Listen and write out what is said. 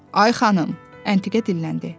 Ay xanım, Əntiqə dilləndi.